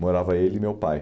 Morava ele e meu pai.